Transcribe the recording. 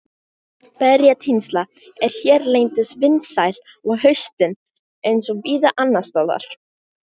Berjatínsla er hérlendis vinsæl á haustin eins og víða annars staðar.